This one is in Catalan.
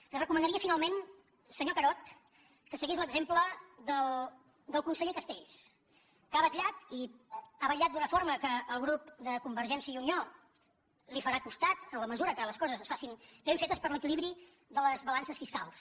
li recomanaria finalment senyor carod que seguís l’exemple del conseller castells que ha vetllat i hi ha vetllat d’una forma que el grup de convergència i unió li farà costat en la mesura que les coses es facin ben fetes per l’equilibri de les balances fiscals